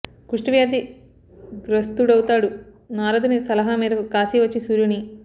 కుష్టు వ్యాధి గ్రస్తుడవుతాడు నారదుని సలహా మేరకు కాశీ వచ్చి సూర్యుని